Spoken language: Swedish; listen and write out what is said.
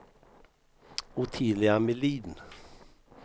Ottilia Melin